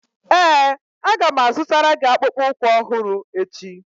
Ee, Aga m azụtara gị akpụkpọ ụkwụ ọhụrụ echi